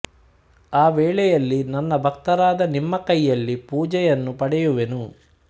ಆ ವೇಳೆಯಲ್ಲಿ ನನ್ನ ಭಕ್ತರಾದ ನಿಮ್ಮ ಕೈಯಲ್ಲಿ ಪೂಜೆಯನ್ನು ಪಡೆಯುವೆನು